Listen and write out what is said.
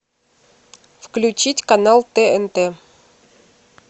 включить канал тнт